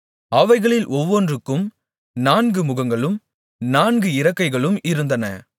அவைகளில் ஒவ்வொன்றுக்கும் நான்கு முகங்களும் நான்கு இறக்கைகளும் இருந்தன